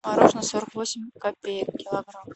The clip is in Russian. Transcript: мороженое сорок восемь копеек килограмм